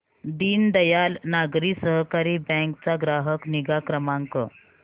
दीनदयाल नागरी सहकारी बँक चा ग्राहक निगा क्रमांक